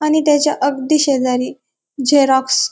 आणि त्याच्या अगदी शेजारी झेरॉक्स --